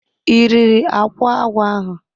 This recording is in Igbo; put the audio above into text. I riri akwa agwọ ahu?